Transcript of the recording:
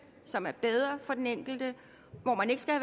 som er bedre for den enkelte hvor man ikke skal